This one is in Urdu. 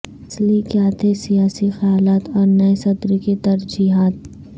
اصلی کیا تھے سیاسی خیالات اور نئے صدر کی ترجیحات